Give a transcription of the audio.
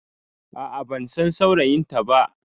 A'a bansan saurayinta ba